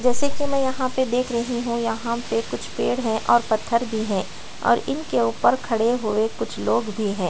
जैसे की में यहाँ पे देख रही हु यहाँ पे कुछ पेड़ है और पत्थर भी है और इनके ऊपर खड़े हुए कुछ लोग भी है।